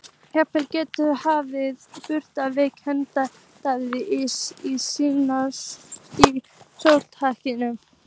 Jafnvel Gretti hefði brugðið við kvennamál Daða í Snóksdal.